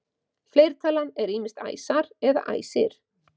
Fleirtalan er ýmist æsar eða æsir.